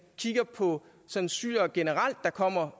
kigger på sådan syrere generelt der kommer